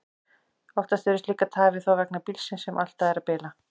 Oftar eru slíkar tafir þó vegna bílsins, sem alltaf er að bila.